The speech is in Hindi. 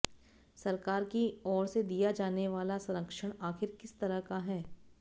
सरकार की ओर से दिया जाने वाला संरक्षण आखिर किस तरह का है